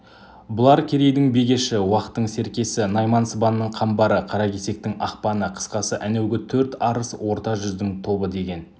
бұлар керейдің бегеші уақтың серкесі найман сыбанның қамбары қаракесектің ақпаны қысқасы әнеугі төрт арыс орта жүздің тобы деген